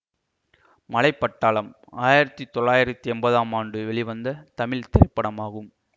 மலை பட்டாளம் ஆயிரத்தி தொள்ளாயிரத்தி என்பதாம் ஆண்டு வெளிவந்த தமிழ் திரைப்படமாகும்